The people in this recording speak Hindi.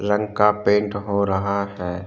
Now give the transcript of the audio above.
रंग का पेंट हो रहा है।